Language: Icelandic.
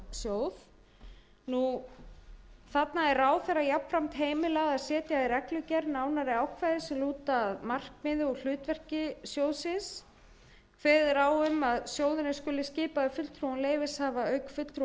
í framangreindan sjóð ráðherra er heimilað að setja í reglugerð nánari ákvæði sem lúta að markmiði og hlutverki sjóðsins kveðið er á um að sjóðurinn skuli skipaður fulltrúum leyfishafa auk fulltrúa